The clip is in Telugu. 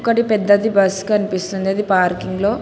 డి పెద్దది బస్ కనిపిస్తుంది అది పార్కింగ్ లో--